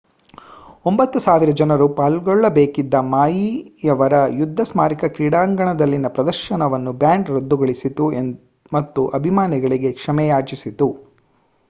9,000 ಜನರು ಪಾಲ್ಗೊಳ್ಳಬೇಕಿದ್ದ ಮಾಯಿ ರವರ ಯುದ್ಧ ಸ್ಮಾರಕ ಕ್ರೀಡಾಂಗಣದಲ್ಲಿನ ಪ್ರದರ್ಶನವನ್ನು ಬ್ಯಾಂಡ್ ರದ್ದುಗೊಳಿಸಿತು ಮತ್ತು ಅಭಿಮಾನಿಗಳಿಗೆ ಕ್ಷಮೆಯಾಚಿಸಿತು